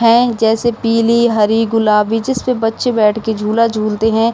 हैं जैसे पीली हरी गुलाबी जिसपे बच्चे बैठ के झूला झूलते हैं।